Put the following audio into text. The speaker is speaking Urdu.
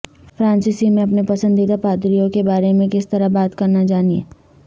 فرانسیسی میں اپنے پسندیدہ پادریوں کے بارے میں کس طرح بات کرنا جانیں